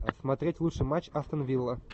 смотреть лучший матч астон вилла